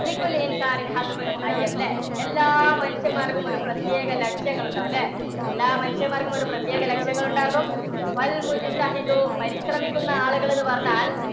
എല്ലാ മനുഷ്യന്മാന്മാർക്കും ഒരു പ്രത്യേക ലക്ഷ്യങ്ങൾ ഉണ്ടാകും അല്ലേ? എല്ലാ മനുഷ്യന്മാർക്കും ഒരു പ്രത്യേക ലക്ഷ്യങ്ങൾ ഉണ്ടാകും. പരിശ്രമിക്കുന്ന ആളുകൾ എന്നുപറഞ്ഞാൽ